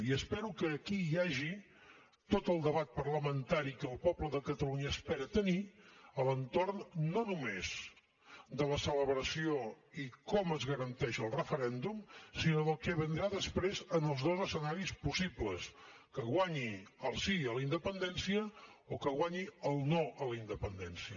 i espero que aquí hi hagi tot el debat parlamentari que el poble de catalunya espera tenir a l’entorn no només de la celebració i com es garanteix el referèndum sinó del que vindrà després en els dos escenaris possibles que guanyi el sí a la independència o que guanyi el no a la independència